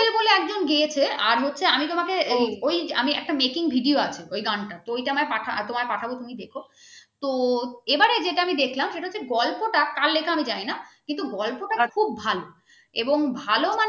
একজন গেয়েছে আর হচ্ছে আমি তোমাকে ওই একটা making video আছে ওই গানটা তো ঐটা আমায় তোমায় পাঠাবো তুমি দেখো তো এবারে যেটা আমি দেখলাম সেটা হচ্ছে গল্প তা কার লেখা আমি জানি না কিন্তু গল্প টা খুব ভালো এবং ভালো